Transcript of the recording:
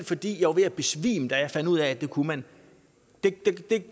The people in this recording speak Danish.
fordi jeg var ved at besvime da jeg fandt ud af at det kunne man det